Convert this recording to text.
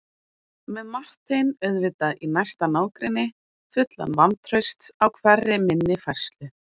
Með Martein auðvitað í næsta nágrenni, fullan vantrausts á hverri minni færslu.